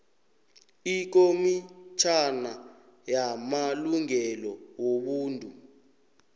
ikomitjhana yamalungelo wobuntu